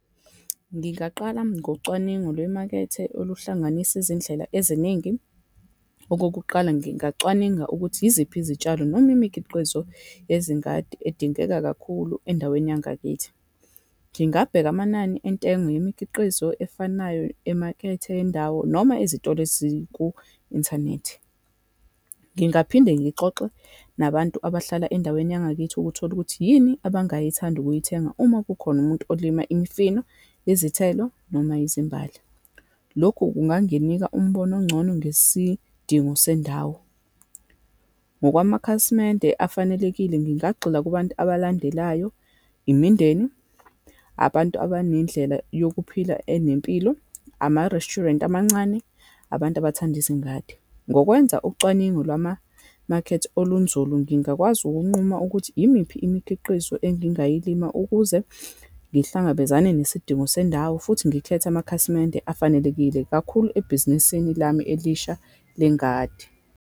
Ngingaqala ngocwaningo lwemakethe oluhlanganisa izindlela eziningi. Okokuqala, ngingacwaninga ukuthi yiziphi izitshalo, noma imikhiqizo yezingadi edingeka kakhulu endaweni yangakithi. Ngingabheka amanani entengo yimikhiqizo efanayo emakethe yendawo, noma ezitolo eziku-inthanethi. Ngingaphinde ngixoxe nabantu abahlala endaweni yangakithi ukuthola ukuthi, yini abangayithanda ukuyithenga uma kukhona umuntu olima imifino, izithelo, noma izimbali. Lokhu kunganginika umbono ongcono ngesidingo sendawo. Ngokwamakhasimende afanelekile, ngingagxila kubantu abalandelayo, imindeni, abantu abanendlela yokuphila enempilo, ama-restuarant amancane, abantu abathanda izingadi. Ngokwenza ucwaningo lwamamakhethe olunzulu, ngingakwazi ukunquma ukuthi yimiphi imikhiqizo engingayilima ukuze ngihlangabezane nesidingo sendawo, futhi ngikhethe amakhasimende afanelekile, kakhulu ebhizinisini lami elisha lengadi.